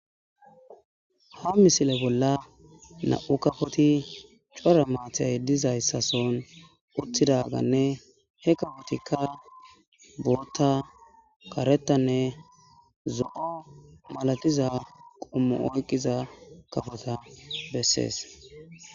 ha misile bolla na7u kafoti core maathay dizayssason uttidaganne he kafotikka burota karetanne zo7o malatiza qummu oyqqiza kafota bessees